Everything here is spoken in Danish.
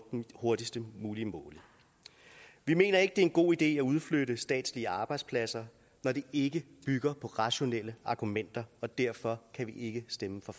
hurtigst mulige måde vi mener ikke det er en god idé at udflytte statslige arbejdspladser når det ikke bygger på rationelle argumenter og derfor kan vi ikke stemme for